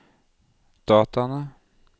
dataene